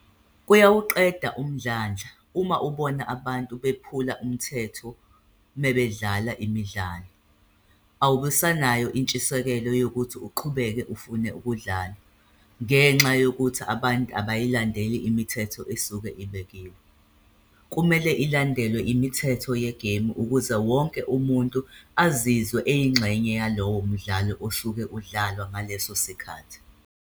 Kuyawuqeda umdlandla, uma ubona abantu bephula umthetho mebedlala imidlalo. Awubusanayo intshisekelo yokuthi uqhubeke ufune ukudlala, ngenxa yokuthi abantu abayilandeli imithetho esuke ibekiwe. Kumele ilandelwe imithetho yegemu ukuze wonke umuntu azizwe eyingxenye yalowo mdlalo osuke udlalwa ngaleso sikhathi.